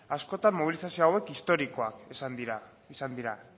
askotan mobilizazio hauek historikoak izan dira